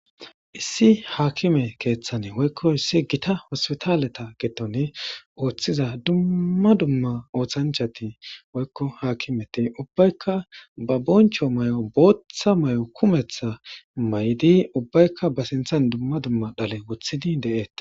issi haakime keeththane woykko issi gita hospitaaleta gettoni ooththiza dumma dumma ooththanchati woykko haakimeti ubbaykka ba boncho may7o booththa may7o kumetha may7di ubbaykka ba sinthan dumma dumma dhale wothidi de7ette